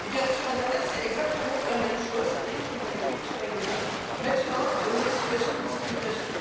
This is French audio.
Sur internet, c'est exactement la même chose et je me réjouis que ce règlement mette fin aux situations de discrimination.